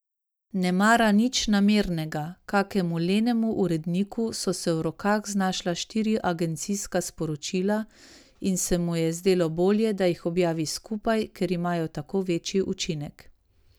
Nemara nič namernega, kakemu lenemu uredniku so se v rokah znašla štiri agencijska sporočila in se mu je zdelo bolje, da jih objavi skupaj, ker imajo tako večji učinek.